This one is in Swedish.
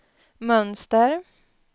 mönster